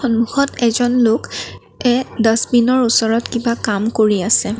সন্মুখত এজন লোক এ ডাছবিনৰ ওচৰত কিবা কাম কৰি আছে।